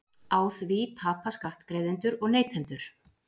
Á því tapa skattgreiðendur og neytendur